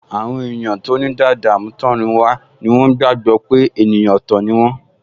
Àwọn èèyàn tó ní dàda àmútọ̀runwá ni wọ́n gbàgbọ́ pé èèyàn ọ̀tọ̀ ni wọ́n